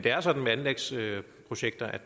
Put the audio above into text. så